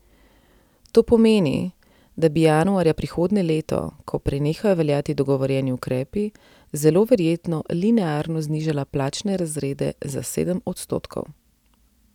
To pomeni, da bi januarja prihodnje leto, ko prenehajo veljati dogovorjeni ukrepi, zelo verjetno linearno znižala plačne razrede za sedem odstotkov.